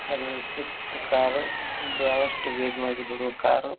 ಇದು Swift car ಬಹಳಷ್ಟು ವೇಗವಾಗಿ ದೂಡುವ ಕಾರು .